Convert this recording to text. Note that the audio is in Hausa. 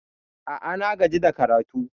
A'a, na gaji da karatu.